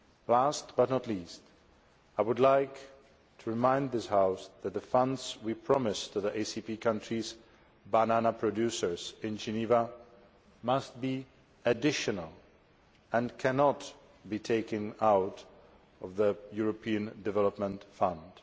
Last but not least, I would like to the remind the House that the funds we promised to the ACP countries' banana producers in Geneva must be additional and cannot be taken out of the European Development Fund.